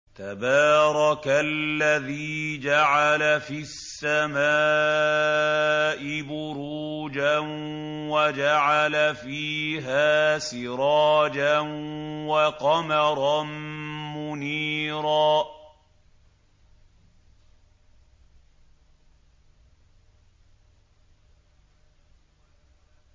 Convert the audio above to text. تَبَارَكَ الَّذِي جَعَلَ فِي السَّمَاءِ بُرُوجًا وَجَعَلَ فِيهَا سِرَاجًا وَقَمَرًا مُّنِيرًا